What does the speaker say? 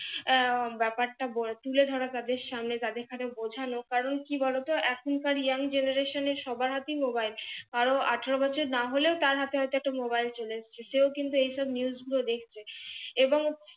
আহ ব্যাপারটা বল তুলে ধরা তাদের সামনে দেখা তা বোঝানো কারণ কারণ কি বলতো এখনকার young generation এ সবার হাতেই মোবাইল কারো আঠারো বছর হলে ও তার হাতে হয়তো একটা মোবাইল চলে এসেছে সে ও কিন্তু এই সব news গুলো দেখছে এবং